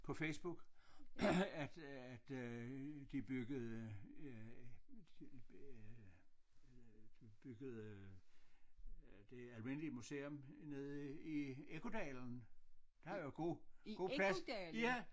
På Facebook at at øh de byggede øh øh øh de byggede øh det almindelige museum nede i Ekkodalen der er jo god god plads ja